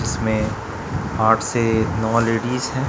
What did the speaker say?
इसमें आठ से नौ लेडिस हैं।